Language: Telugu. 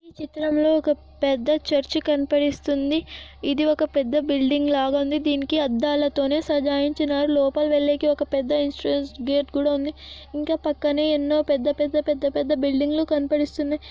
పెద్ద చర్చి కనపడిస్తుంది ఇది ఒక్క పెద్ద బిల్డింగ్ లాగ ఉంది దీనికి అద్దలతోని సడైన్చినరు.. లోపలి వెల్లకి పెద్ద గేటు కూడా ఉంది. ఇంకా ఉన్న పక్కన ఎన్నో పెద్ద పెద్ద పెద్ద బిల్డింగ్ లు కనపడిస్తున్నాయి.